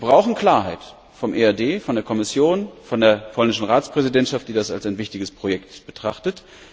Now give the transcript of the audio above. Wir brauchen Klarheit vom EAD, von der Kommission, von der polnischen Ratspräsidentschaft, die das als ein wichtiges Projekt betrachtet.